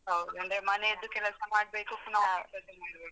ಹೌದು ಅಂದ್ರೆ ಮನೆಯದ್ದು ಕೆಲಸ ಮಾಡ್ಬೇಕು ಪುನಃ office ಅದ್ದು ಮಾಡ್ಬೇಕು